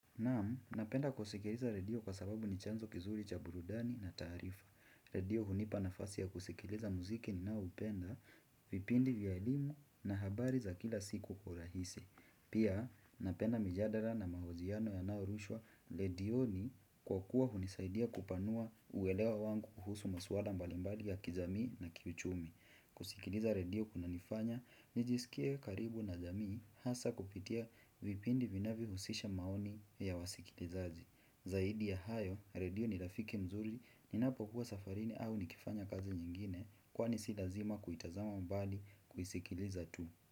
Naam, napenda kusikiliza redio kwa sababu ni chanzo kizuri cha burudani na tarifa. Redio hunipa nafasi ya kusikiliza muziki ninao upenda, vipindi vya elimu na habari za kila siku kwa urahisi. Pia, napenda mijadara na mahojiano yanayo rushwa redioni kwa kuwa hunisaidia kupanua uwelewa wangu kuhusu maswala mbalimbali ya kizamii na kichumi. Kusikiliza redio kunanifanya, nijisikie karibu na jamii hasa kupitia vipindi vinavyo husisha maoni ya wasikilizaji Zaidi ya hayo, redio ni rafiki mzuri, ninapo kuwa safarini au nikifanya kazi nyingine Kwani si lazima kuitazama mbali kuisikiliza tu.